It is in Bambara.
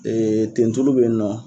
Ee tentulu be yen nɔ.